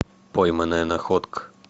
пойманная находка